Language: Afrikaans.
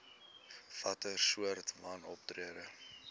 watter soorte wanoptrede